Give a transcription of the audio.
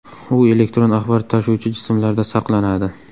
U elektron axborot tashuvchi jismlarda saqlanadi.